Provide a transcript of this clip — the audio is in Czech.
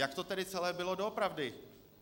Jak to tedy celé bylo doopravdy?